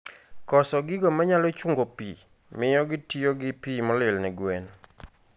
Koso gigo manyalo chungo pii mio gitiyogi pii molil ne gwen